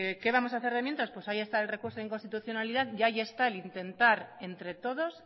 que qué vamos a hacer de mientras pues ahí está el recurso de inconstitucionalidad y ahí está el intentar entre todos